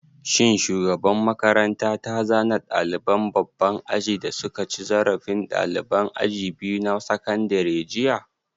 Shin shugaban makaranta ta zane ɗaliban babban aji da suka cin zarafi ɗaliban aji biyu na sakandare jiya?